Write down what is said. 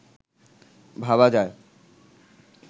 ভাবা যায়